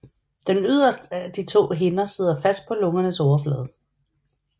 Den yderst af de to hinder sidder fast på lungernes overflade